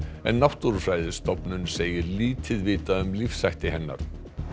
en Náttúrufræðistofnun segir lítið vitað um lífshætti hennar